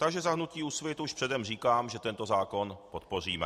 Takže za hnutí Úsvit už předem říkám, že tento zákon podpoříme.